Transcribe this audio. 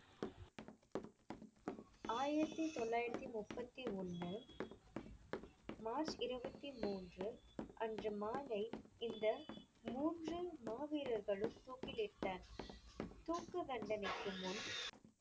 ஆயிரத்தி தொள்ளாயிரத்தி முப்பத்தி ஒண்ணு மார்ச் இருபத்தி மூன்று அன்று மாலை இந்த மூன்று மாவீரர்களும் தூக்கிலிட்ட~ தூக்கு தண்டனைக்கு முன்